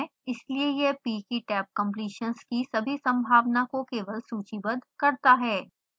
इसलिए यह p की tabcompletions की सभी संभावना को केवल सूचीबद्ध करता है